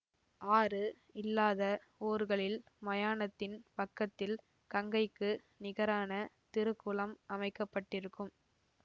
ஆறு இல்லாத ஊர்களில் மயானத்தின் பக்கத்தில் கங்கைக்கு நிகரான திருக்குளம் அமைக்க பட்டிருக்கும்